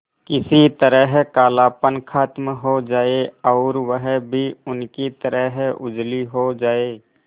किसी तरह कालापन खत्म हो जाए और वह भी उनकी तरह उजली हो जाय